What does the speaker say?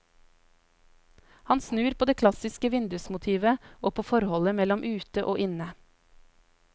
Hun snur på det klassiske vindusmotivet og på forholdet mellom inne og ute.